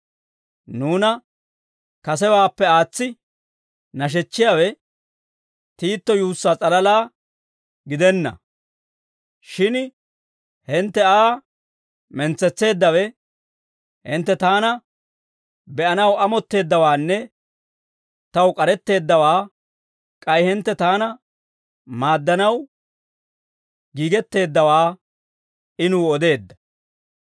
Nuuna kasewaappe aatsi nashechchiyaawe, Tiito yuussaa s'alalaa gidenna; shin hintte Aa mentsetseeddawe, hintte taana be'anaw amotteeddawaanne taw k'aretteeddawaa k'ay hintte taana maaddanaw giigetteeddawaa I nuw odeedda.